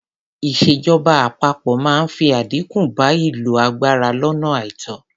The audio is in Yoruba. Ìṣèjọba àpapọ máa fi àdínkù bá ìlò agbára lónà àìtó.